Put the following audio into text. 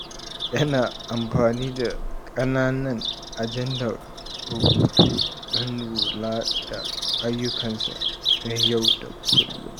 Yana amfani da ƙananan ajandar rubutu don lura da duk ayyukansa na yau da kullum.